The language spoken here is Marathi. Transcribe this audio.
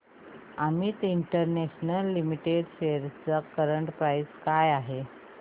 अमित इंटरनॅशनल लिमिटेड शेअर्स ची करंट प्राइस काय आहे